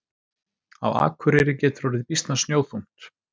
Á Akureyri getur orðið býsna snjóþungt.